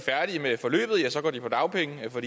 på dagpenge for